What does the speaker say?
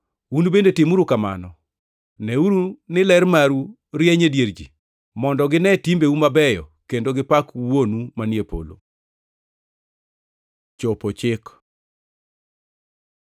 Un bende timuru kamano. Neuru ni ler maru rieny e dier ji, mondo gine timbeu mabeyo kendo gipak Wuonu manie polo. Chopo chik